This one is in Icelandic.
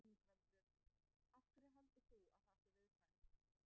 Ingveldur: Af hverju heldur þú að það sé viðkvæmt?